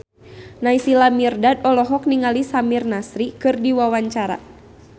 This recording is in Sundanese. Naysila Mirdad olohok ningali Samir Nasri keur diwawancara